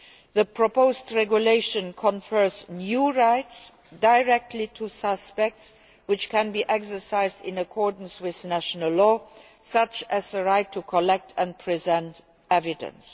The proposed regulation confers new rights directly to suspects, which can be exercised in accordance with national law, such as the right to collect and present evidence.